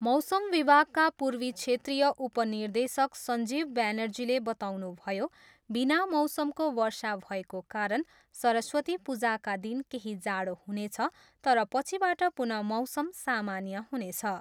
मौसम विभागका पूर्वी क्षेत्रिाय उप निर्देशक सञ्जीव ब्यानर्जीले बताउनुभयो, बिना मौसमको वर्षा भएको कारण सरस्वती पूजाका दिन केही जाडो हुनेछ तर पछिबाट पुनः मौसम सामान्य हुनेछ।